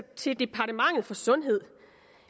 til departementet for sundhed